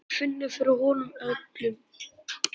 Hún finnur fyrir honum öllum.